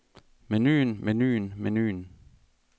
menuen menuen menuen